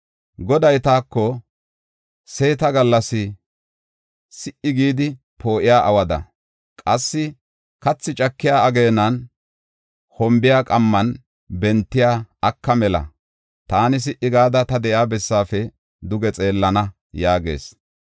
Goday taako, “Seeta gallas si77i gidi poo7iya awada, qassi kathi cakiya ageenan, hombiya qamman bentiya aka mela taani si77i gada, ta de7iya bessaafe duge xeellana” yaagis.